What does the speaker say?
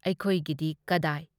ꯑꯩꯈꯣꯏꯒꯤꯗꯤ ꯀꯗꯥꯏ?